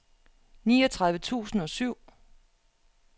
niogtredive tusind og syv